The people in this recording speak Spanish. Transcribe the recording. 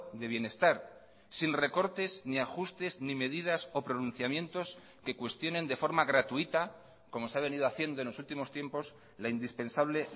de bienestar sin recortes ni ajustes ni medidas o pronunciamientos que cuestionen de forma gratuita como se ha venido haciendo en los últimos tiempos la indispensable